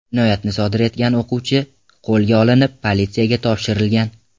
Jinoyatni sodir etgan o‘quvchi qo‘lga olinib, politsiyaga topshirilgan.